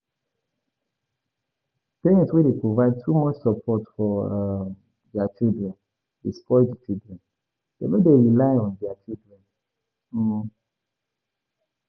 Parent wey dey provide too much support for um their children dey spoil di children, dem no dey rely on their parent um